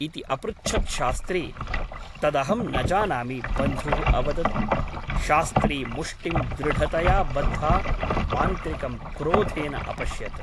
इति अपृच्छत् शास्त्री । तदहं न जानामि बन्धुः अवदत् । शास्त्री मुष्टिं दृढतया बद्धा मान्त्रिकं क्रोधेन अपश्यत् ।